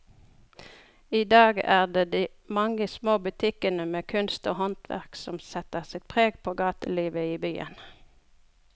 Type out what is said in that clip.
I dag er det de mange små butikkene med kunst og håndverk som setter sitt preg på gatelivet i byen.